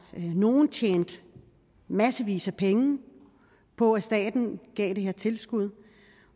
nogle tjente massevis af penge på at staten gav det her tilskud